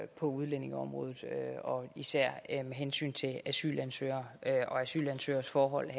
på udlændingeområdet især med hensyn til asylansøgere og asylansøgeres forhold